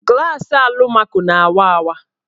Glasị alụmaco na-awa awa.